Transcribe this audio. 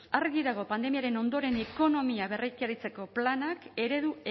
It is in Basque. argi dago pandemiaren ondoren ekonomia berreraikitzeko planak eredu